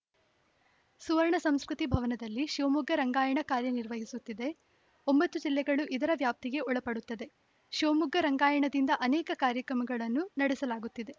ಸುವರ್ಣ ಸಂಸ್ಕೃತಿ ಭವನದಲ್ಲಿ ಶಿವಮೊಗ್ಗ ರಂಗಾಯಣ ಕಾರ್ಯನಿರ್ವಹಿಸುತ್ತಿದೆ ಒಂಬತ್ತು ಜಿಲ್ಲೆಗಳು ಇದರ ವ್ಯಾಪ್ತಿಗೆ ಒಳಪಡುತ್ತವೆ ಶಿವಮೊಗ್ಗ ರಂಗಾಯಣದಿಂದ ಅನೇಕ ಕಾರ್ಯಕ್ರಮಗಳನ್ನು ನಡೆಸಲಾಗುತ್ತಿದೆ